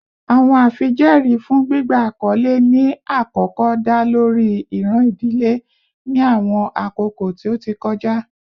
Awọn afijẹẹri fun gbigba akọle ni akọkọ da lori iran idile ni awọn akoko ti o ti kọja